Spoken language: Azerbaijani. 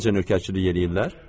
Gör necə nökərçilik eləyirlər.